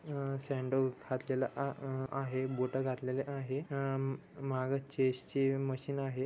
हां सैंडल घातलेला अ आहे बूट घातलेला आहे अ मागे चेस्ट ची मशीन आहे.